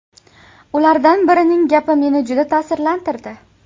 Ulardan birining gapi meni juda ta’sirlantirdi.